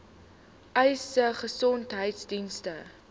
uys sê gesondheidsdienste